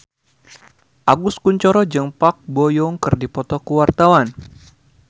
Agus Kuncoro jeung Park Bo Yung keur dipoto ku wartawan